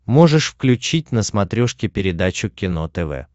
можешь включить на смотрешке передачу кино тв